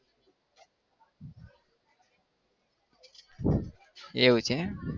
એવું છે?